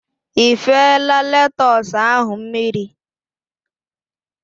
Ifela letus ahụ mmiri?